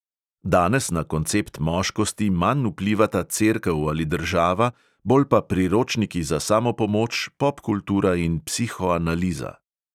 Danes na koncept moškosti manj vplivata cerkev ali država, bolj pa priročniki za samopomoč, popkultura in psihoanaliza.